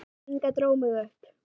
Inga dró mig upp.